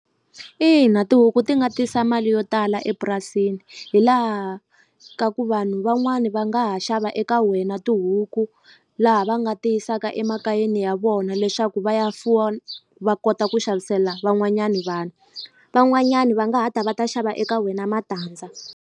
Ina tihuku ti nga tisa mali yo tala epurasini hi laha ka ku vanhu van'wani va nga ha xava eka wena tihuku laha va nga ti yisaka emakayeni ya vona leswaku va ya fuwa va kota ku xavisela van'wanyani vanhu van'wanyani va nga ha ta va ta xava eka wena matandza.